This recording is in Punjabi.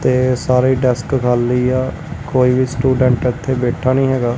ਤੇ ਸਾਰੇ ਡੈਸਟ ਖਾਲੀ ਐ ਕੋਈ ਵੀ ਸਟੂਡੈਂਟ ਇੱਥੇ ਬੈਠਾ ਨਹੀਂ ਹੈਗਾ।